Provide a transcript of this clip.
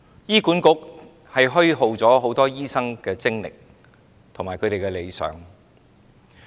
醫管局虛耗很多醫生的精力和理想。